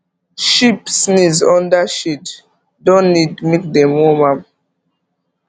sheep sneeze under shade don need make dem worm am